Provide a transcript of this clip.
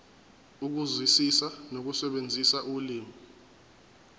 ukuzwisisa nokusebenzisa ulimi